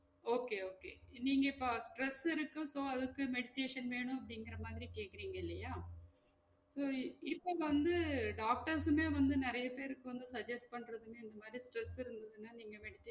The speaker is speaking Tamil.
Okay okay நீங்க இப்ப stress இருக்கு so அதுக்கு meditation வேணும் அப்டிங்குற மாதிரி கேக்குறீங்க இல்லையா so இப்ப வந்து doctors உமே வந்து நிறைய பேருக்கு வந்து suggest பண்றதுமே இந்த மாதிரி stress இருந்ததுனா நீங்க meditation